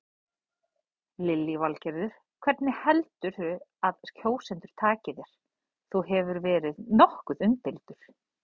Lillý Valgerður: Hvernig heldurðu að kjósendur taki þér, þú hefur verið nokkuð umdeildur?